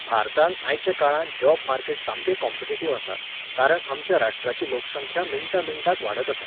भारतांत आयच्या काळांत जॉब मार्केट सामकें कॉम्पिटिटीव आसा, कारण आमच्या राष्ट्राची लोकसंख्या मिण्टा मिण्टाक वाडत आसा.